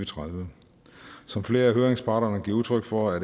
tredive som flere høringsparter giver udtryk for er